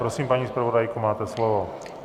Prosím, paní zpravodajko, máte slovo.